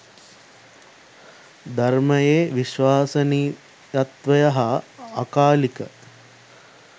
ධර්මයේ විශ්වසනීයත්වය හා අකාලික